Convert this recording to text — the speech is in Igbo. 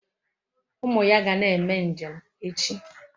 Umu ya ga na-eme njem echi